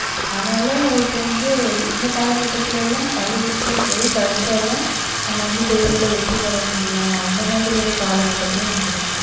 அதனால இப்ப வந்து இந்த காலகட்டத்தில எல்லாம் பள்ளிக்கூடத்துல போய் படிச்சா தான் நம்ம வந்து தேர்வுல வெற்றி பெற முடியும் அந்த மாதிரி ஒரு காலகட்டத்துல நம்ம இருக்கோம்